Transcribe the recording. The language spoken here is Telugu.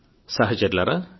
సహచరులారా